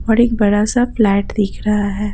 और एक बड़ा सा फ्लैट दिख रहा है।